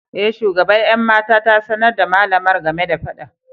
E, shugaban 'yan mata ta sanar da malamar game da fadan.